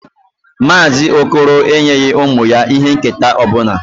Mazị okoro enyeghị ụmụ ya ihe nketa ọ bụla.